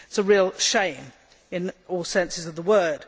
That is a real shame in all senses of the word.